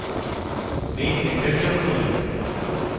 main method যোগ করুন